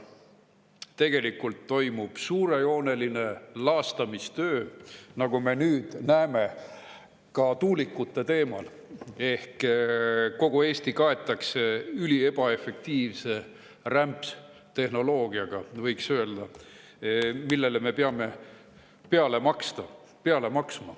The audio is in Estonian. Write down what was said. Tegelikult toimub suurejooneline laastamistöö, nagu me nüüd näeme, ka tuulikute teemal ehk kogu Eesti kaetakse, võiks öelda, üliebaefektiivse rämpstehnoloogiaga, millele me peame peale maksma.